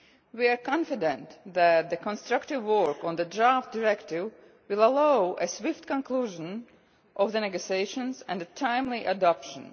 We are confident that the constructive work on the draft Directive will allow a swift conclusion of the negotiations and a timely adoption.